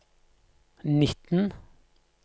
nitten